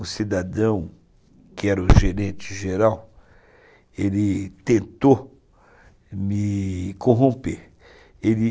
Um cidadão, que era o gerente geral, ele tentou me corromper. Ele